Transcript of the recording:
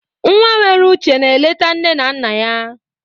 Nwa nwere uche na-eleta nne na nna ya.